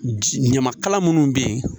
Ɲamakala minnu bɛ yen